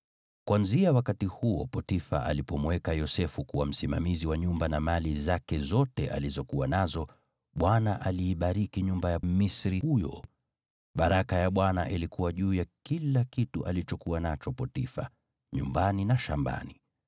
Kuanzia wakati huo Potifa alipomweka Yosefu kuwa msimamizi wa nyumba na mali zake zote alizokuwa nazo, Bwana aliibariki nyumba ya Mmisri huyo kwa sababu ya Yosefu. Baraka ya Bwana ilikuwa juu ya kila kitu alichokuwa nacho Potifa, nyumbani na shambani.